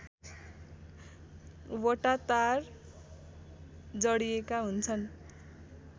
वटा तार जडिएका हुन्छन्